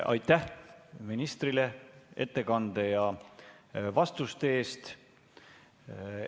Aitäh ministrile ettekande ja vastuste eest!